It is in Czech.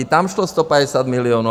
I tam šlo 150 milionů.